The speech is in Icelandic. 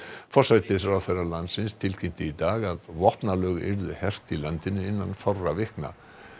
forsætisráðherra landsins tilkynnti í dag að vopnalög yrðu hert í landinu innan fárra vikna